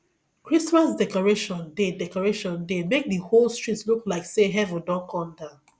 christmas decoration dey decoration dey make di whole street look like sey heaven don come down